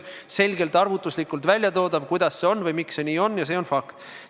Selle saab arvutuslikult selgelt välja tuua, miks see nii on, aga see on fakt.